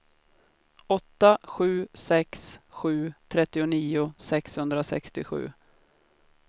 åtta sju sex sju trettionio sexhundrasextiosju